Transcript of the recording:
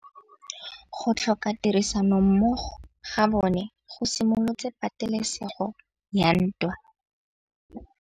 Go tlhoka tirsanommogo ga bone go simolotse patêlêsêgô ya ntwa.